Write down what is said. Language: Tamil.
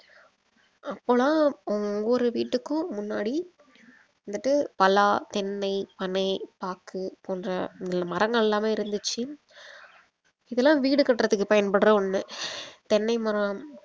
அப்போலாம் ஹம் ஒவ்வொரு வீட்டுக்கும் முன்னாடி வந்துட்டு பலா தென்னை பனை பாக்கு போன்ற மரங்கள் எல்லாமே இருந்துச்சு இதெல்லாம் வீடு கட்டறதுக்கு பயன்படுற ஒண்ணு தென்னை மரம்